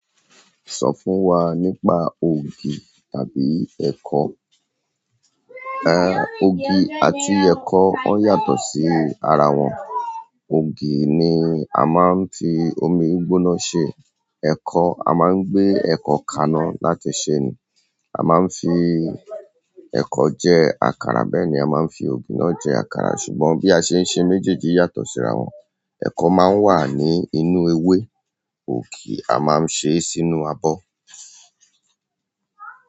Sọ fún wa nípa ògì tàbí ẹ̀kọ. Ògì àti ẹ̀kọ wọ́n yàtọ̀ sí ara wọn. Ògì ni a máa ń fi omi gbóná ṣe, ẹ̀kọ a máa ń gbé ẹ̀kọ kaná láti ṣe è nì. A máa ń fi ẹ̀kọ jẹ àkàrà bẹ́ẹ̀ ni a máa ń fi ògì náà jẹ àkàrà ṣùgbọ́n bí a ṣe ń ṣe méjèèjì yàtọ̀ sí ara wọn. Ẹ̀kọ máa ń wà ní inú ewé, ògì a máa ń ṣe sínú abọ́.